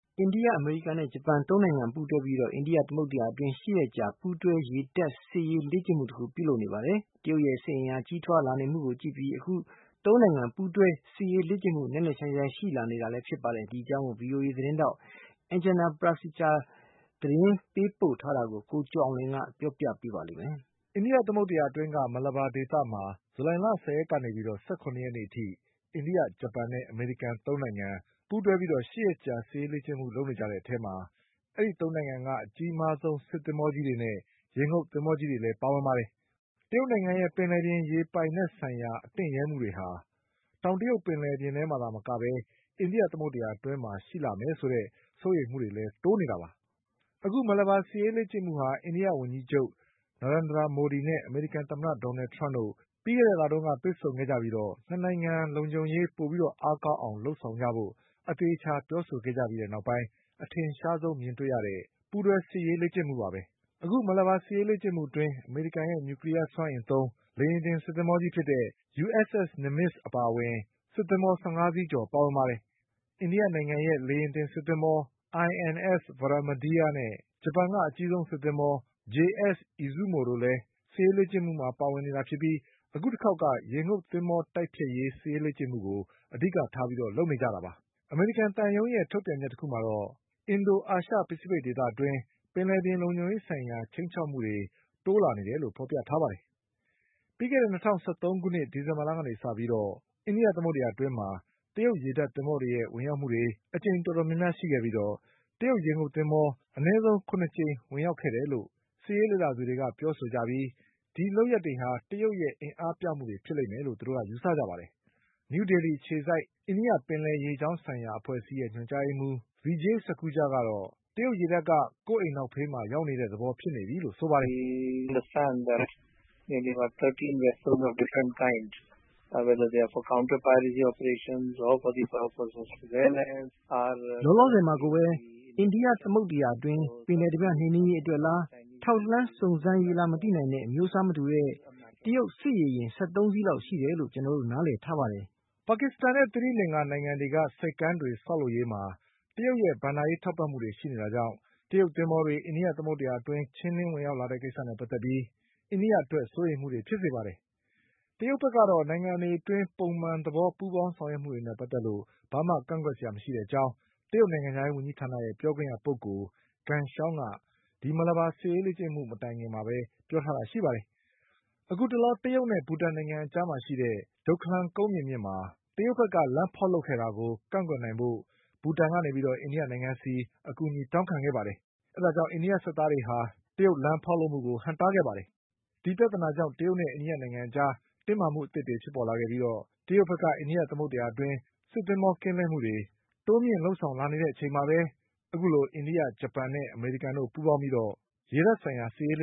အိန္ဒိယ၊ အမေရိကန်နဲ့ဂျပန်သုံးနိုင်ငံပူးတွဲပြီး အိန္ဒိယသမုဒ္ဒရာအတွင်း ၈ ရက်ကြာပူးတွဲ ရေတပ်စစ်ရေးလေ့ကျင့်မှု တခုပြုလုပ်နေပါတယ်။ တရုတ်ရဲ့စစ်အင်အားကြီးထွားလာနေမှုကိုကြည့်ပြီး အခုလိုသုံးနိုင်ငံ ပူးတွဲစစ်ရေးလေ့ကျင့်မှု နက်နက်ရှိုင်းရှိုင်းရှိလာနေတာလည်းဖြစ်ပါတယ်။ ဒီအကြောင်း VOA သတင်းထောက် Anjana Pasricha ရဲ့ သတင်းပေးပို့ချက်ကို ကိုကျော်အောင်လွင်က ပြောပြပါလိမ့်မယ်။ အိန္ဒိယသမုဒ္ဒရာ အတွင်း Malabar ဒေသမှာ ဇူလိုင်လ ၁၀ရက်ကနေ ၁၇ရက်နေ့ အထိ အိန္ဒိယ၊ ဂျပန်နဲ့ အမေရိကန်သုံး နိုင်ငံ ပူးတွဲ့ပြီး ၈ရက်ကြာ စစ်ရေးလေ့ကျင့်မှုလုပ်နေကြတဲ့နေရာမှာ ဒီသုံးနိုင်ငံက အကြီးမားဆုံး စစ်သင်္ဘောကြီးတွေနဲ့ ရေငုပ်သင်္ဘောတွေလည်းပါဝင်ကြပါတယ်။ တရုတ်နိုင်ငံရဲ့ ပင်လယ်ပြင်ရေပြင်ပိုင်နက်ဆိုင်ရာ အတင့်ရဲ့မှုတွေဟာတောင်တရုတ်ပင်လယ်ပြင် မှာတင်မကပဲ အိန္ဒိယသမုဒ္ဒရာ အတွင်းရှိလာမယ်ဆိုတဲ့ စိုးရိမ်မှုတွေလည်းတိုးလာနေတာပါ။ အခု Malabar စစ်ရေးလေ့ကျင့်မှုဟာ အိန္ဒိယဝန်ကြီးချုပ် Narendra Modi နဲ့ အမေရိကန်သမ္မတ Donald Trump တို့ ပြီးခဲ့တဲ့လ တုန်းက တွေ့ဆုံခဲ့ကြပြီး ၂နိုင်ငံ လုံခြုံရေးပိုပြီးအားကောင်းလာအောင် လုပ်ဆောင်ကြဖို့ အသေအချာပြောဆိုခဲ့ကြပြီး နောက်ပိုင်း အထင်ရှားဆုံးမြင်တွေ့ရတဲ့ ပူးတွဲလှုပ်ရှားမှုပါပဲ။အခု Malabar စစ်ရေးလေ့ကျင့်မှုအတွင်း အမေရိကန်ရဲ့ နျူကလီးယား စွမ်းအင်သုံး လေယာဉ်တင်စစ်သင်္ဘော USS Nimitz အပါအဝင် စစ်သင်္ဘော ၁၅စီး ကျော် ပါဝင်ပါတယ်။ အိန္ဒိယနိုင်ငံရဲ့ လေယာဉ်တင်စစ်သင်္ဘော INS Vikramaditya နဲ့ ဂျပန်က အကြီးဆုံးစစ်သင်္ဘော JS Izumo တို့လည်း ပါဝင်လေ့ကျင့်နေတာဖြစ်ပြီး အခုတခေါက်က ရေငုပ်သင်္ဘောတိုက်ဖျက်ရေး စစ်ရေးလေ့ကျင့်မှုကို အဓိကထားပြီး လုပ်နေကြတာပါ။ အမေရိကန် သံရုံးက ထုတ်ပြန်ချက် တခုမှာတော့ အင်ဒို-အာရှပစိဖိတ်ဒေသအတွင်း ပင်လယ်ပြင်လုံခြုံရေးဆိုင်ရာ ခြိမ်းခြောက်မှုတွေ တိုးလာနေတယ်လို့ဖေါ်ပြထားပါတယ်။ ပြီးခဲ့တဲ့၂၀၁၃ ခုနှစ်၊ ဒီဇင်ဘာလက စပြီး အိန္ဒိယသမုဒ္ဒရာ အတွင်း တရုတ်ရေတပ်သင်္ဘောတွေရဲ့ ဝင်ရောက်မှုတွေ အကြိမ်တော်တော်များ များရှိခဲ့ပြီး တရုတ်ရေငုပ်သင်္ဘော အနည်းဆုံး ၇ကြိမ်ဝင်ရောက်ခဲ့တယ်လို့ စစ်ရေးလေ့လာသူတွေက ပြောကြပြီး ဒီလုပ်ရပ်တွေဟာ တရုတ်ရဲ့အင်အားပြမှုတွေဖြစ်လိမ့်မယ်လို့ ယူဆကြပါတယ်။ နယူးဒေလီ အခြေစိုက် အိန္ဒိယပင်လယ်ရေကြောင်း ဆိုင်ရာအဖွဲ့အစည်း ရဲ့ ညွန်ကြားရေးမှုး Vijay Sakhuja ကတော့ တရုတ်ရေတပ်က ကိုယ့်အိမ်နောက်ဖေးမှာရောက်နေ တဲ့သဘောဖြစ်နေပြီလို့ဆိုပါတယ်။ “လောလောဆယ်မှာကိုပဲ အိန္ဒိယသမုဒ္ဒရာ အတွင်းမှာ ပင်လယ်ဓါးပြနှိမ်နင်းရေး အတွက်လား၊ ထောက်လှမ်းစုံစမ်းရေးလား မသိနိုင်တဲ့ အမျိုးအစားမတူတဲ့ တရုတ်စစ်ရေယာဉ်၁၃စီးလောက် ရှိတယ်လို့ ကျနော်တို့နားလည်ထားတယ်လို့ပြောသွားတာပါ။” ပါကစ္စတန်နဲ့ သီရိလင်္ကာ နိုင်ငံတွေက ဆိပ်ကမ်းတွေဆောက်လုပ် ရေးမှာ တရုတ်ရဲ့ဘဏ္ဍာရေး ထောက်ပံ့မှုတွေရှိနေတာကြောင့် တရုတ်သင်္ဘောတွေ အိန္ဒိယသမုဒ္ဒရာအတွင်းဝင်ရောက် လာတဲ့ကိစ္စနဲ့ပတ်သက်ပြီး အိန္ဒိယအတွက် စိုးရိမ်မှုတွေဖြစ်စေပါတယ်။ တရုတ်ဘက်ကတော့ နိုင်ငံတွေအတွင်း ပုံမှန် သဘောပူးပေါင်းလုပ်ဆောင်မှုတွေနဲ့ပတ်သက်လို့ ဘာမှကန့်ကွက်စရာ မရှိတဲ့အကြောင်း တရုတ်နိုင်ငံခြားရေးဝန်ကြီး ဌာနရဲ့ပြောခွင့်ရပုဂ္ဂိုလ် ဂန်ရှောင်းက Malabarစစ်ရေးလေ့ကျင့်မှု မတိုင်ခင်မှာပြောထားတာ ဖြစ်ပါတယ်။ အခုတလော တရုတ်နဲ့ ဘူတန်နိုင်ငံ အကြားမှာရှိတဲ့ ကုန်းမြေမြင့်မှာ တရုတ်ဘက်ကလမ်းဖေါက်ခဲ့တာကို ကန့်ကွက်နိုင်ဖို့ ဘူတန်ကနေ အိန္ဒိနိုင်ငံဆီ အကူအညီတောင်းခဲ့ပြီး အိန္ဒိယစစ်သားတွေက ဟန့်တားခဲ့ပါတယ်။ အဲဒီပြဿနာကြောင့် တရုတ်နဲ့အိန္ဒိယအကြား တင်းမာမှုဖြစ်ခဲ့ပြီး တရုတ်က အိန္ဒိယသမုဒ္ဒရာအတွင်း စစ်သင်္ဘောကင်းလှည့်မှုတွေ တိုးမြင့် လုပ်ဆောင်လာခဲ့တဲ့အချိန်မှာပဲ အခုလိုအိန္ဒိယ၊ ဂျပန်နဲ့ အမေရိကန်တို့ ပူးပေါင်းပြီး ရေတပ်ဆိုင်ရာ စစ်ရေးလ